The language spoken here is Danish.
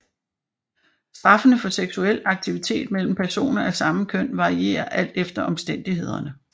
Straffene for seksuel aktivitet mellem personer af samme køn varierer alt efter omstændighederne